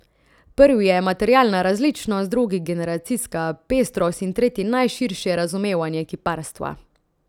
Prvi je materialna različnost, drugi generacijska pestrost in tretji najširše razumevanje kiparstva.